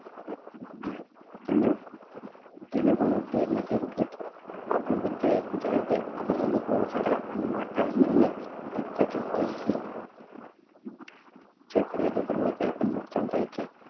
તેનું જેને આપણે બધા એકબીજાને ત્યાં આપણે અનુકૂળ સગા અને માઠા બને સરખાજ હોય છીએ જે ફરયાદ હો કરવો હોય ત્યાં પણ નુખસાન થાયજ છે